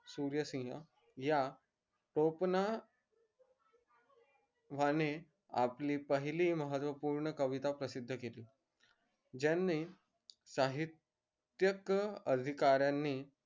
सूर्यसिंह या टोपण वाने आपली पहिली महत्वपूर्ण कविता प्रसिद्ध केली जयणी साहित्यक अधिकारांनी